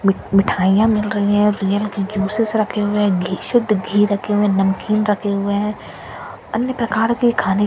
मि मिठाईयां मिल रही है रियल की जूसेस रखे हुए है घी शुद्ध घी रखे हुए हैं नमकीन रखें हुए हैं अन्य प्रकार के खाने के--